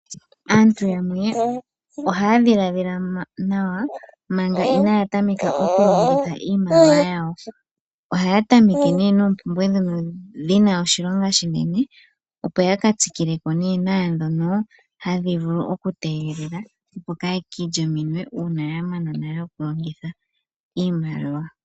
Aantu yamwe ohaya dhiladhila nawa manga inaaya tameka okulongitha iimaliwa yawo. Ohaya tameke nee noompumbwe ndhono dhina oshilonga oshinene opo yaka tsikileko naandhoka hadhi vulu okutegelela opo kaya ilye ominwe uuna yamana nale okulongitha iimaliwa.